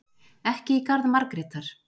Ekki í garð Margrétar.